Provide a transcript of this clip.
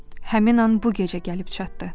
Həmin an bu gecə gəlib çatdı.